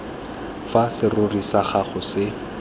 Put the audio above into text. fa serori sa gago se